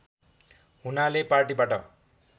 हुनाले पार्टीबाट